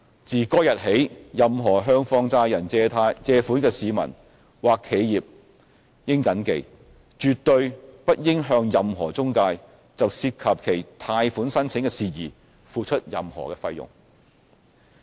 自該日起，任何向放債人借款的市民或企業應謹記，絕對不應向任何中介就涉及其貸款申請的事宜付出任何費用。